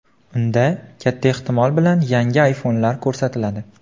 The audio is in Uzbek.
Unda, katta ehtimol bilan, yangi ayfonlar ko‘rsatiladi.